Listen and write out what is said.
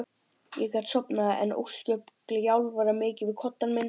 Ég gat sofnað en ósköp gjálfraði mikið við koddann minn.